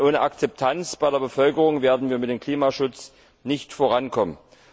Denn ohne Akzeptanz bei der Bevölkerung werden wir beim Klimaschutz nicht vorankommen.